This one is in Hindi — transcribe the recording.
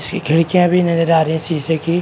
इसकी खिड़कियां भी नजर आ रही है शीशे की।